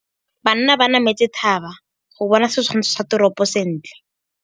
Banna ba nametse thaba go bona setshwantsho sa toropô sentle.